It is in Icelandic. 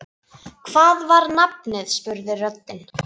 Hvað var nafnið? spurði röddin.